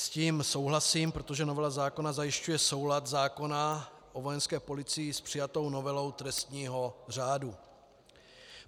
S tím souhlasím, protože novela zákona zajišťuje soulad zákona o Vojenské policii s přijatou novelou trestního řádu.